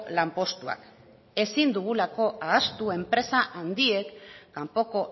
lanpostuak ezin dugulako ahaztu enpresa handiek kanpoko